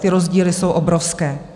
Ty rozdíly jsou obrovské.